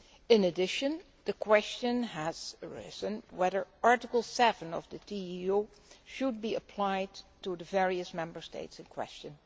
In addition, the question has arisen as to whether Article 7 of the TEU should be applied to the various Member States in question.